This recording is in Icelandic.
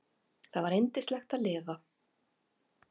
Það var yndislegt að lifa.